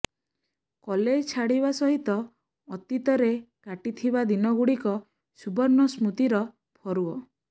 college ଛାଡିବା ସହିତ ଅତୀତ ରେ କାଟିଥିବା ଦିନ ଗୁଡିକ ସୁବର୍ଣ୍ଣ ସ୍ମୃତିର ଫରୁଅ